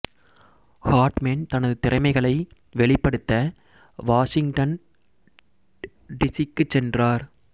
Hartman தனது திறமைகளை வெளிப்படுத்த வாசிங்டன் டி சி க்கு சென்றார்